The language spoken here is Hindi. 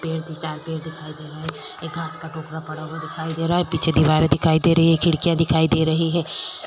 पेड़ दिखाई दे रहा है एक कांच का टुकड़ा पड़ा हुआ दिखाई दे रहा है पीछे दीवारें दिखाई दे रही है खिड़कियाँ दिखाई दे रही है।